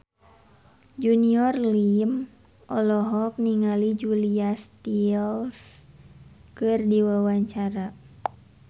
Junior Liem olohok ningali Julia Stiles keur diwawancara